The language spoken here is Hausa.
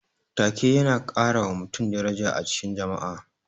Ta-ke yana karawa mutum daraja a cikin jama'a.